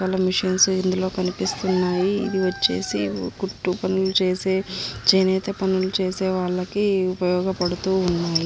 మన మిషన్స్ ఇందులో కనిపిస్తున్నాయి ఇదివచేసి కుట్టు పనిలు చేసే చాయ్ నియతే పని చేసేవాళ్ళకి ఇది ఉపయోగ బడుతుంది.